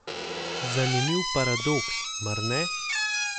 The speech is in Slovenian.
Zanimiv paradoks, mar ne?